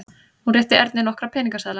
Hún rétti Erni nokkra peningaseðla.